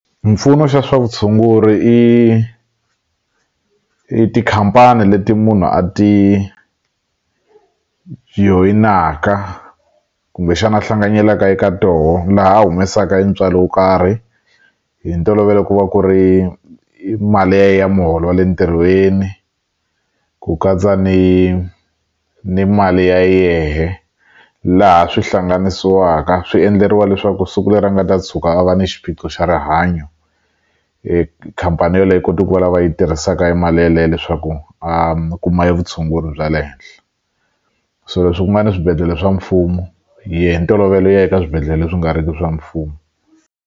Mpfuno xa swa vutshunguri i i tikhampani leti munhu a ti joyinaka kumbexana a hlanganyelaka eka toho laha a humesaka i ntswalo wo karhi hi ntolovelo ku va ku ri mali ya ye ya muholo wa le ntirhweni ku katsa ni ni mali ya yehe laha swi hlanganisiwaka swi endleriwa leswaku siku leri a nga ta tshuka a va ni xiphiqo xa rihanyo khampani yoleyo koti ku va la va yi tirhisaka i mali yaleye leswaku a kuma evutshunguri bya le henhla so leswi ku nga na swibedhlele swa mfumo hi ya hi ntolovelo eka swibedhlele leswi nga ri ki swa mfumo.